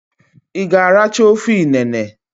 I g'aracha ofe inene?